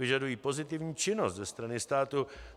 Požadují pozitivní činnost ze strany státu.